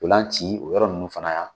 dolan ci o yɔrɔ ninnu fana yan